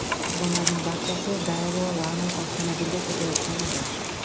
Qurbonlarning barchasi Daewoo Lanos avtomobilida ketayotgan edi.